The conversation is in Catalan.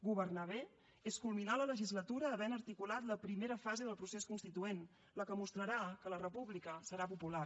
governar bé és culminar la legislatura havent articulat la primera fase del procés constituent la que mostrarà que la república serà popular